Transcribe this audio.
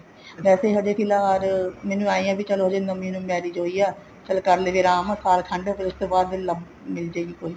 ਵੈਸੇ ਹਜੇ ਫਿਲਹਾਲ ਮੈਨੂੰ ਏਵੇਂ ਹੀ ਹੈ ਵੀ ਨਵੀਂ ਨਵੀਂ marriage ਹੋਈ ਆ ਚਲ ਕਰਲੁਗੀ ਆਰਾਮ ਸਾਲ ਖੰਡ ਫ਼ੇਰ ਉਸ ਤੋਂ ਬਾਅਦ ਮਿਲ੍ਜੇਗੀ ਕੋਈ